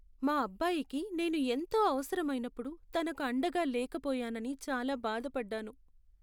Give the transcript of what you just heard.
మా అబ్బాయికి నేను ఎంతో అవసరమైనప్పుడు తనకు అండగా లేకపోయానని చాలా బాధపడ్డాను.